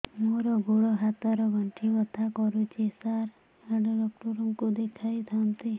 ମୋର ଗୋଡ ହାତ ର ଗଣ୍ଠି ବଥା କରୁଛି ସାର ହାଡ଼ ଡାକ୍ତର ଙ୍କୁ ଦେଖାଇ ଥାନ୍ତି